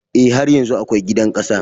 E, har yanzu akwai gidan ƙasa.